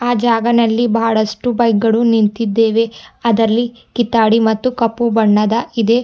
ಆ ಜಾಗನಲ್ಲಿ ಬಹಳಷ್ಟು ಬೈಕ್ ಗಳು ನಿಂತಿದ್ದೇವೆ ಅದರಲ್ಲಿ ಕಿತ್ತಾಡಿ ಮತ್ತು ಕಪ್ಪು ಬಣ್ಣದ ಇದೆ.